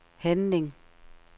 handling